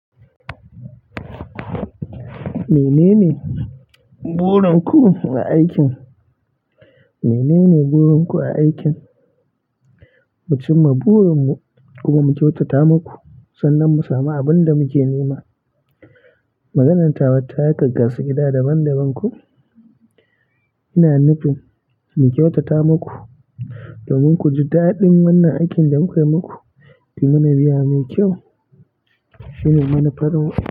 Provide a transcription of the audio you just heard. Menene burin ku na aikin? Menene burin ku a aikin? Mu cimma burin mu kuma mu kyautata maku sannan mu samu abin da muke nema. Maganar tawa ta yi kaggasu gida daban-daban ko. Ina nufin mu kyautata maku domin ku ji daɗin wannan aikin da mukai muku, kuy mana biya mai kyau shine manufar mu.